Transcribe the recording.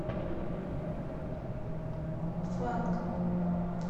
фанк